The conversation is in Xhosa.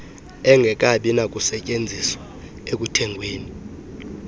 engekabi nakusetyenziswa ekuthengweni